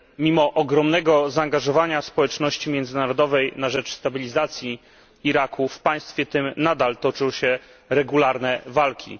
Mimo ogromnego zaangażowania społeczności międzynarodowej na rzecz stabilizacji Iraku, w państwie tym nadal toczą się regularne walki.